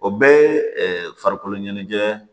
O bɛɛ ye farikolo ɲɛnajɛ